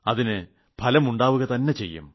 അതിന് ഫലം ഉണ്ടാവുക തന്നെ ചെയ്യും